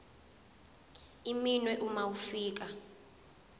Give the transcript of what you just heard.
iminwe uma ufika